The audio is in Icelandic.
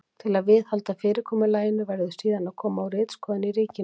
Til að viðhalda fyrirkomulaginu verður síðan að koma á ritskoðun í ríkinu.